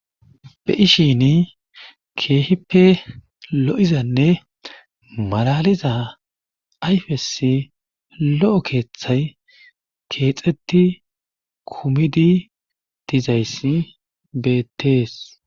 Be7ishiini keehippe lo7izanne malaaliza ayfessi lo7o keethay keezetti kumidi dizayssi beettees.